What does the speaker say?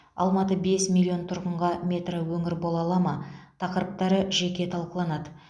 алматы бес миллион тұрғынға метроөңір бола ала ма тақырыптары жеке талқыланады